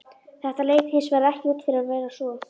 Þetta leit hins vegar ekki út fyrir að vera svo.